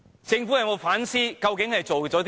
政府有否反思它究竟做了甚麼？